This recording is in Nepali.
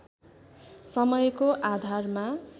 समयको आधारमा